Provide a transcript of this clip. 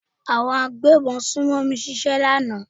Àwọn agbébọn sùnmọ̀mí ṣe ọṣẹ́ ní àná.